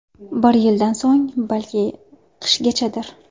Bir yildan so‘ng, balki qishgachadir.